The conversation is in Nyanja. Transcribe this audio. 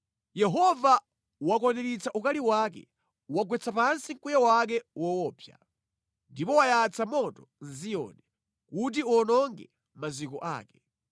Yehova wakwaniritsa ukali wake; wagwetsa pansi mkwiyo wake woopsa. Ndipo wayatsa moto mʼZiyoni kuti uwononge maziko ake.